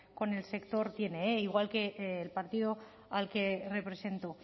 con el sector tiene igual que el partido al que represento